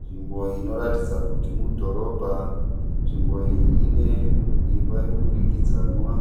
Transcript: Nzvimbo inoratidza kuti mudhorobha . Nzvimbo iyi ine imba yemudurikidzanwa.